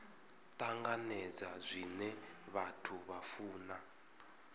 tanganedza zwine vhathu vha funa